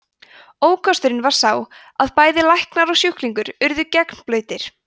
ókosturinn var sá að bæði læknar og sjúklingur urðu gegnblautir